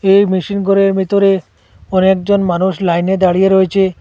এই মেশিন গরের বেতরে অনেকজন মানুষ লাইনে দাঁড়িয়ে রয়েছে।